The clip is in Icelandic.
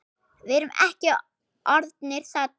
Við erum ekki orðnir saddir.